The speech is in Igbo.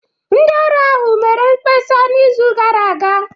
Ndị ọrụ ahụ mere mkpesa n'izu gara aga